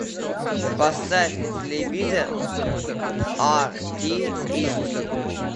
поставь на телевизор ар ти эйч ди